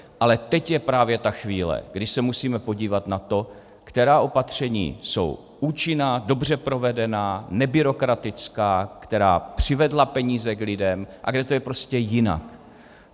Ale teď je právě ta chvíle, kdy se musíme podívat na to, která opatření jsou účinná, dobře provedená, nebyrokratická, která přivedla peníze k lidem, a kde to je prostě jinak.